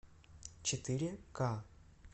четыре ка